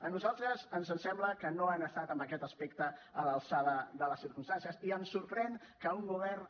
a nosaltres ens sembla que no han estat en aquest aspecte a l’alçada de les circumstàncies i em sorprèn que un govern